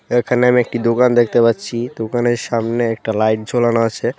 এখানে আমি একটি দোকান দেখতে পাচ্ছি দোকানের সামনে একটা লাইট ঝোলানো আছে।